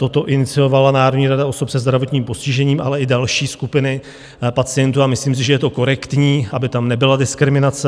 Toto iniciovala Národní rada osob se zdravotním postižením, ale i další skupiny pacientů, a myslím si, že je to korektní, aby tam nebyla diskriminace.